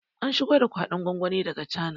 An shigo da kwaɗon gwangwani daga cana